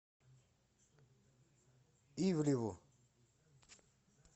ивлеву